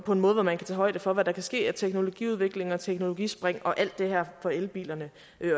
på en måde hvor man kan tage højde for hvad der kan ske af teknologiudvikling og teknologispring og al det her for elbilerne